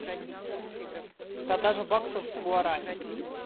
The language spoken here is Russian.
продажа баксов в гуарани